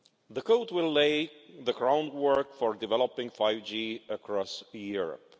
The code will lay the groundwork for developing 5G across Europe.